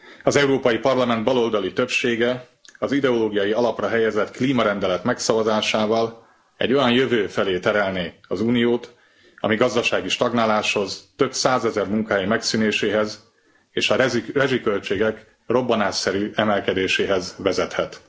Az Európai Parlament baloldali többsége az ideológiai alapra helyezett klímarendelet megszavazásával egy olyan jövő felé terelné az Uniót, ami gazdasági stagnáláshoz, több százezer munkahely megszűnéséhez és a rezsiköltségek robbanásszerű emelkedéséhez vezethet.